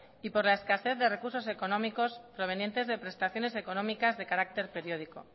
y por la escasez de recursos económicos provenientes de prestaciones económicas de carácter periódico